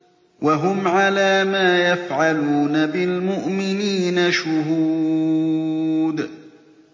وَهُمْ عَلَىٰ مَا يَفْعَلُونَ بِالْمُؤْمِنِينَ شُهُودٌ